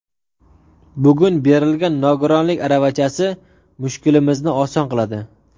Bugun berilgan nogironlik aravachasi mushkulimizni oson qiladi.